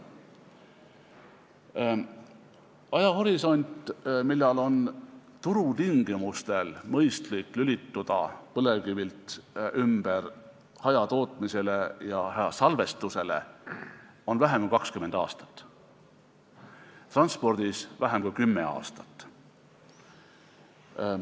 Ajahorisont, millal on turutingimustel mõistlik lülituda põlevkivilt ümber hajatootmisele ja hajasalvestusele, on vähem kui 20 aastat, transpordis vähem kui kümme aastat.